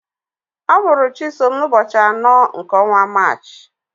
Amụrụ Chisom n'ụbọchị anọ nke ọnwa Maachị.